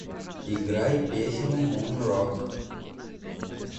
играй песню мунрок